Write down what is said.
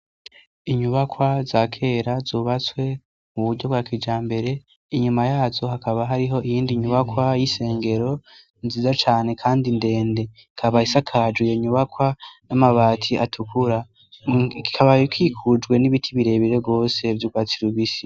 Inyubakwa za kera zubatswe mu buryo bwa kijambere inyuma yazo hakaba hariho iyindi nyubakwa y'isengero nziza cane kandi ndende ikaba isakajwe nyubakwa n'amabati atukura kikabaye ikikujwe n'ibiti bire bire gose vy'ugwatsi rubisi.